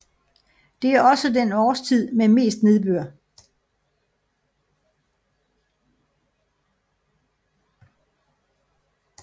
Det er også den årstid med mest nedbør